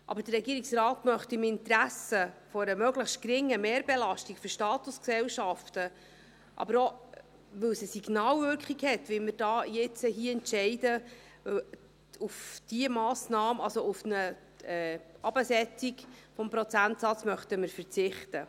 Aber der Regierungsrat möchte im Interesse einer möglichst geringen Mehrbelastung für Statusgesellschaften, aber auch weil es eine Signalwirkung hat, wie wir jetzt hier entscheiden, auf eine Herabsetzung des Prozentsatzes verzichten.